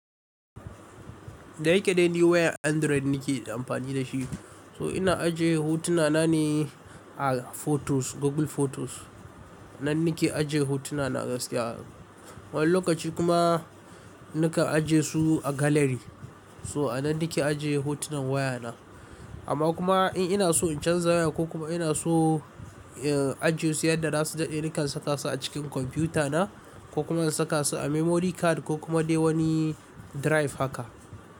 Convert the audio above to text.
Da yake dai ni wayan Android nike amfani da shi, so ina ajiye hotuna na ne a photos, Google Photos. Nan nike ajiye hotuna na gaskiya. Wani lokaci kuma nakan ajiye su a gallery. So a nan nake ajiye hotunan waya na. Amma kuma in ina so in canza waya ko kuma ina so, eh, ajiye su yadda za su dade nakan saka su a cikin kwamfiyuta na ko kuma in saka su a memory card ko kuma dai wani drive haka.